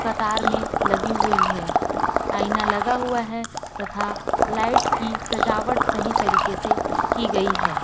कतार में लगी हुई है आईना लगा हुआ है तथा लाइट की सजावट सही तरीके से की गई है।